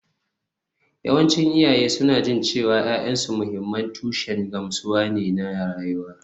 Yawancin iyaye suna jin cewa ’ya’yansu mahimman tushen gamsuwa ne na rayuwa